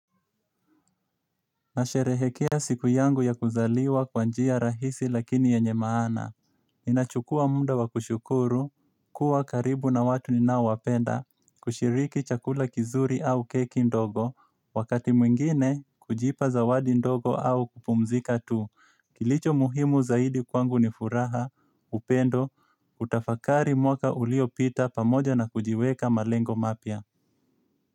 Nasherehekea siku yangu ya kuzaliwa kwa njia rahisi lakini yenye maana. Ninachukua muda wa kushukuru, kuwa karibu na watu ninaowapenda, kushiriki chakula kizuri au keki ndogo, wakati mwingine kujipa zawadi ndogo au kupumzika tu. Kilicho muhimu zaidi kwangu ni furaha, upendo, kutafakari mwaka uliopita pamoja na kujiweka malengo mapya.